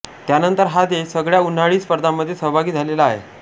त्यानंतर हा देश सगळ्या उन्हाळी स्पर्धांमध्ये सहभागी झालेला आहे